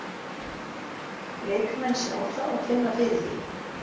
Leikmenn sjá það og finna fyrir því.